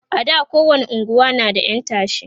a da kowani unguwa na da ƴan tashe